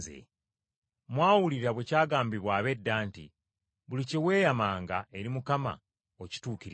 “Mwawulira bwe kyagambibwa ab’edda nti, ‘Buli kye weeyamanga eri Mukama okituukirizanga.’